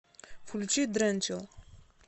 включи дренчилл